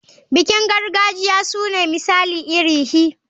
Bikin gargajiya sune misali iri hi.